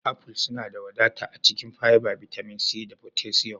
Aful suna da wadata a cikin fiber, bitamin C, da potassium